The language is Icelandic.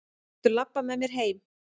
Viltu labba með mér heim!